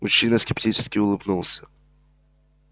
мужчина скептически улыбнулся